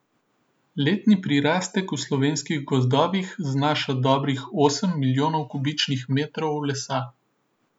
Letni prirastek v slovenskih gozdovih znaša dobrih osem milijonov kubičnih metrov lesa.